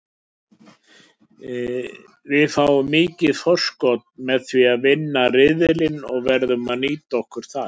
Við fáum mikið forskot með því að vinna riðilinn og verðum að nýta það.